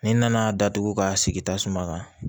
Ni n nana datugu ka sigi ta suma kan